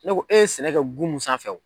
Ne ko e ye sɛnɛ kɛ gun mun sanfɛ o